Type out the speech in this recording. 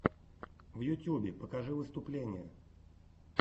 в ютюбе покажи выступления